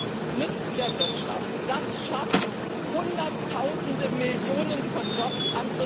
Das nützt der Wirtschaft, das schafft Hunderttausende oder gar Millionen von Jobs.